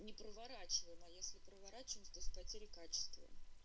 не проворачиваем а если проворачиваем то с потерей качества